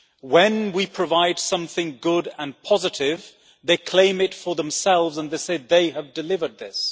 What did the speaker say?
When we provide something good and positive, they claim it for themselves and they say they have delivered this.